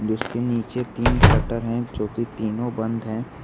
उसके नीचे तीन शटर है जोकि तीनों बंद है।